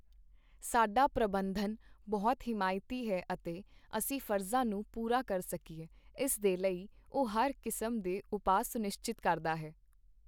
ਸਾਡਾ ਪ੍ਰਬੰਧਨ ਬਹੁਤ ਹਿਮਾਇਤੀ ਹੈ ਅਤੇ ਅਸੀਂ ਫਰਜ਼ਾਂ ਨੂੰ ਪੂਰਾ ਕਰ ਸਕੀਏ, ਇਸ ਦੇ ਲਈ ਉਹ ਹਰ ਕਿਸਮ ਦੇ ਉਪਾਅ ਸੁਨਿਸ਼ਚਿਤ ਕਰਦਾ ਹੈ।